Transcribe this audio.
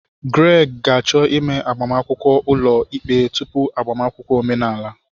Greg ga-achọ ime agbamakwụkwọ ulo ikpe tupu agbamakwụkwọ omenala.